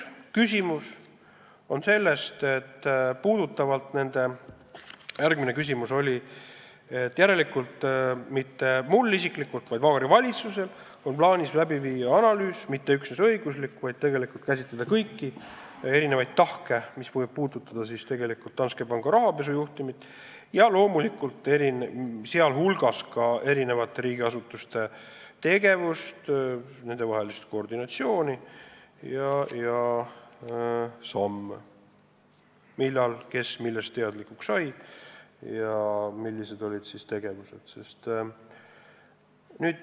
Mis puutub konkreetsesse küsimusse, siis mitte mul isiklikult, vaid Vabariigi Valitsusel on plaanis läbi viia analüüs, ja mitte üksnes õiguslik, vaid selline, kus tegelikult käsitletakse kõiki tahke, mis puudutavad Danske panga rahapesujuhtumit, sh loomulikult ka eri riigiasutuste tegevust, nendevahelist töö koordineerimist ja samm-sammult seda, millal kes millest teadlikuks sai ja mida ette võttis.